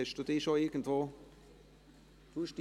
Haben Sie sich schon irgendwo eingeloggt?